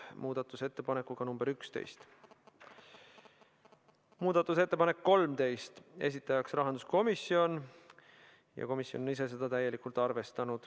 Muudatusettepanek nr 13, esitajaks on rahanduskomisjon ja seda on arvestatud täielikult.